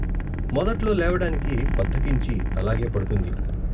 మొదట్లో లేవడానికి బద్దకించి అలాగే పడుకుంది.